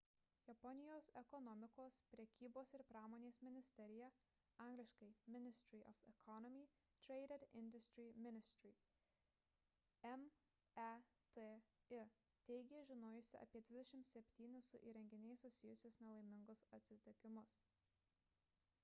japonijos ekonomikos prekybos ir pramonės ministerija angl. ministry of economy trade and industry ministry meti teigė žinojusi apie 27 su įrenginiais susijusius nelaimingus atsitikimus